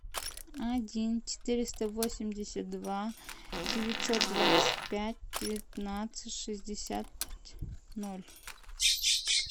один четыреста восемьдесят два девятьсот двадцать пять девятнадцать шестьдесят ноль